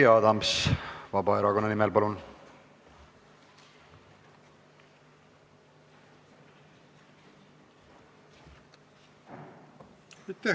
Jüri Adams Vabaerakonna nimel, palun!